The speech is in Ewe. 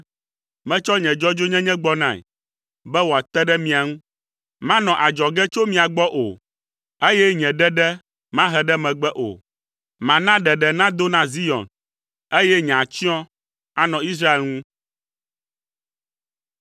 Metsɔ nye dzɔdzɔenyenye gbɔnae be wòate ɖe mia ŋu. Manɔ adzɔge tso mia gbɔ o, eye nye ɖeɖe mahe ɖe megbe o. Mana ɖeɖe nado na Zion, eye nye atsyɔ̃ anɔ Israel ŋu.”